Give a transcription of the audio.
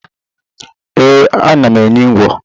Ee, ana m enyi ngwo